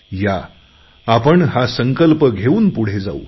या आपण हा संकल्प घेऊन पुढे जाऊ